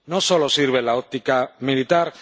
No solo sirve la óptica militar.